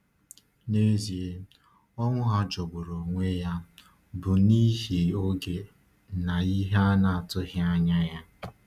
N’ezie, ọnwụ ha jọgburu onwe ya bụ n’ihi oge na ihe a na-atụghị anya.